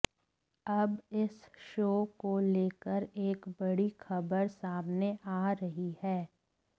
अब इस शो को लेकर एक बड़ी खबर सामने आ रही है